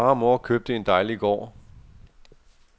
Far og mor købte en dejlig gård.